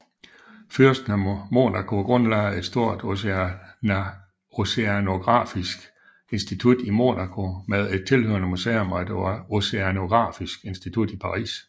Fyrsten af Monaco grundlagde et stort oceanografisk institut i Monaco med et tilhørende museum og et oceanografisk institut i Paris